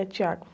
É.